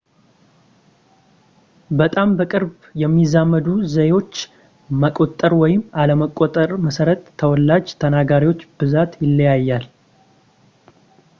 በጣም በቅርብ የሚዛመዱ ዘዬዎች መቆጠር ወይም አለመቆጠር መሠረት የተወላጅ ተናጋሪዎች ብዛት ይለያያል